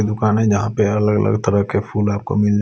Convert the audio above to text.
दुकान है जहां पे अलग-अलग तरह के फूल आपको मिल--